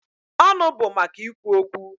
Ọnụ bụ maka ikwu okwu.